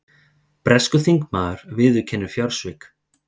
Breskur þingmaður viðurkennir fjársvik